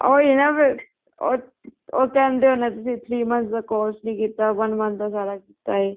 ਉਹੀ ਹੈ ਨਾ ਫ਼ੇਰ ਉਹ ਉਹ ਕਹਿੰਦੇ ਹੋਣੇ ਤੁਸੀਂ three months ਦਾ course ਨੀ ਕੀਤਾ one month ਦਾ ਸਾਰਾ ਕੀਤਾ ਹੈ